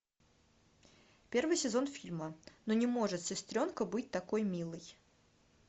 первый сезон фильма ну не может сестренка быть такой милой